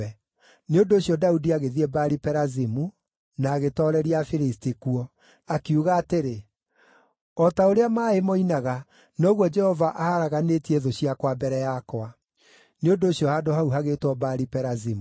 Nĩ ũndũ ũcio Daudi agĩthiĩ Baali-Perazimu, na agĩtooreria Afilisti kuo. Akiuga atĩrĩ, “O ta ũrĩa maaĩ moinaga, noguo Jehova aharaganĩtie thũ ciakwa mbere yakwa.” Nĩ ũndũ ũcio handũ hau hagĩĩtwo Baali-Perazimu.